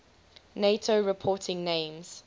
nato reporting names